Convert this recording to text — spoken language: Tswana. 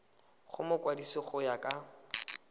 go mokwadise go ya ka